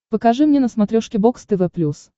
покажи мне на смотрешке бокс тв плюс